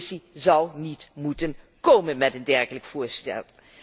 De Commissie zou niet moeten komen met een dergelijk voorstel.